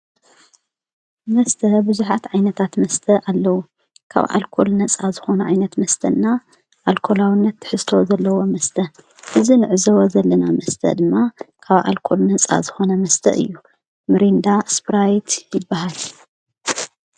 መስተ ብዙኃት ዓይነታት መስተ ኣለዉ ካብ አልኮል ነፃ ዝኾነ ዓይነት መስተና ኣልኮላውነት ትሕዝቶ ዘለዎ መስተ እዚ ንዕዘቦ ዘለና መስተ ድማ ካብ ኣልኮል ነጻ ዝኾነ መስተ እዩ ምሬንዳ ስፕራይት ይበሃል::